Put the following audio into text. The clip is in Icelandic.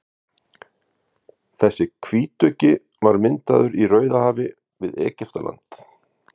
þessi hvítuggi var myndaður í rauðahafi við egyptaland